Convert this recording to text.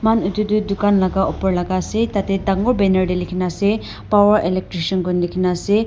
moi khan etu tu dukan laga opor laga ase tarte dagur banner te lekhi kina ase power electriction koina lekhi kina ase.